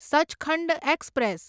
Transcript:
Sachkhand express